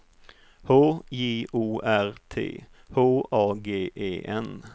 H J O R T H A G E N